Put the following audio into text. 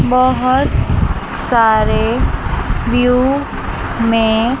बहुत सारे व्यू में--